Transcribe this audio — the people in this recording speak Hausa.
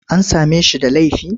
An same shi da laifi?